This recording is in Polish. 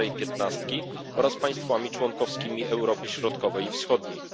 starej piętnastki oraz państwami członkowskimi Europy Środkowej i Wschodniej.